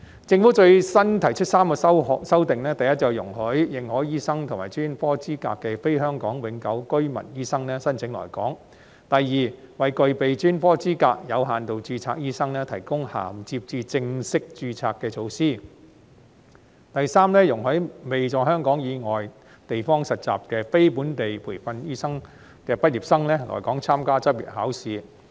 政府最新提出3項修訂：第一，容許持認可醫學及專科資格的非香港永久性居民醫生申請來港；第二，為具備專科資格的"有限度註冊"醫生提供銜接至正式註冊的措施；第三，容許未在香港以外地方實習的非本地培訓醫科畢業生來港參加執業考試。